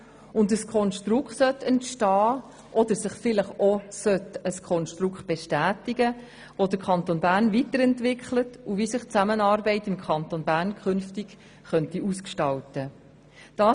Dabei sollte ein Konstrukt entstehen – oder sich vielleicht bestätigen –, das den Kanton Bern weiterentwickelt und zeigt, wie sich die Zusammenarbeit im Kanton Bern zukünftig gestalten könnte.